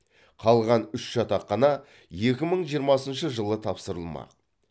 қалған үш жатақхана екі мың жиырмасыншы жылы тапсырыламақ